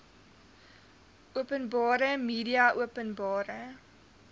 openbare media openbare